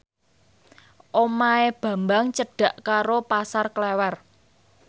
omahe Bambang cedhak karo Pasar Klewer